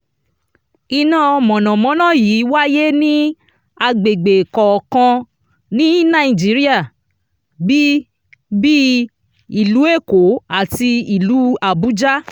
iná mọ̀nàmọ́ná yìí wáyé ní agbègbè kọ̀ọ̀kan ní nàìjíríà bí bíi ìlú èkó àti ìlú àbújá.